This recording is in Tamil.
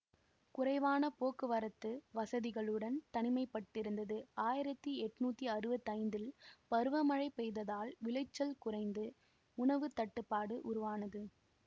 குறைவான போக்குவரத்து வசதிகளுடன் தனிமைப்பட்டிருந்தது ஆயிரத்தி எண்ணூற்றி அறுபத்தைந்தில் பருவமழை பொய்த்ததால் விளைச்சல் குறைந்து உணவு தட்டுப்பாடு உருவானது